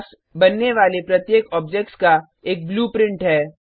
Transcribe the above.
class बनने वाले प्रत्येक ऑब्जेक्ट्स का एक ब्लूप्रिंट है